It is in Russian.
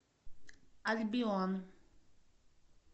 альбион